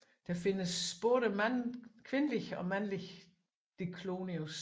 Der findes både kvindelige og mandlige Diclonius